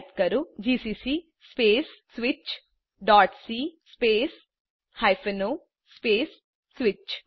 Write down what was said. type કરો GCC space switchસી space o space switch